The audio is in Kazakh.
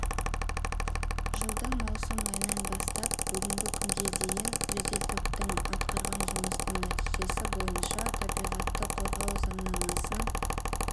жылдың маусым айынан бастап бүгінгі күнге дейін жедел топтың атқарған жұмысының нәтижесі бойынша табиғатты қорғау заңнамасын